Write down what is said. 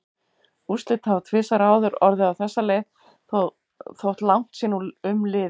Úrslit hafa tvisvar áður orðið á þessa leið þótt langt sé nú um liðið.